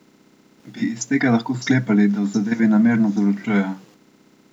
Bi iz tega lahko sklepali, da v zadevi namerno zavlačujejo?